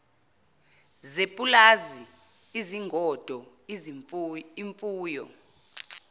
zepulazi izingodo imfuyo